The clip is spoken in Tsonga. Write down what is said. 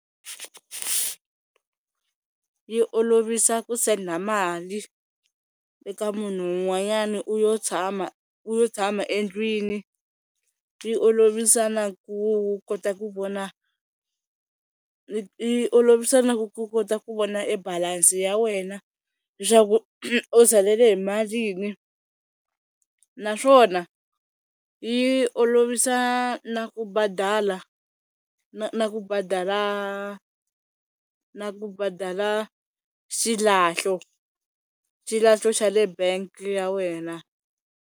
Yi olovisa ku senda mali eka munhu un'wanyana u yo tshama u yo tshama endlwini, yi olovisa na ku kota ku vona yi olovisa na ku ku kota ku vona e balance ya wena leswaku u salele hi malini naswona yi olovisa na ku badala na ku badala na ku badala xilahlo xilahlo xa le bangi ya wena.